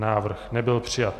Návrh nebyl přijat.